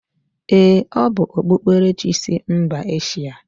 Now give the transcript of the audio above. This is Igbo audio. Ee, o bu okpukperechi sI mba Eshia.